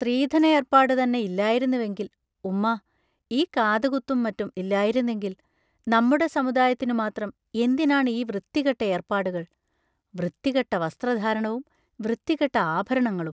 സ്ത്രീധനയർപ്പാടുതന്നെ ഇല്ലായിരുന്നുവെങ്കിൽ ഉമ്മാ, ഈ കാതുകുത്തും മറ്റും ഇല്ലായിരുന്നെങ്കിൽ നമ്മുടെ സമുദായത്തിനുമാത്രം എന്തിനാണ് ഈ വൃത്തികെട്ട ഏർപ്പാടുകൾ വൃത്തികെട്ട വസ്ത്രധാരണവും വൃത്തികെട്ട ആഭരണങ്ങളും...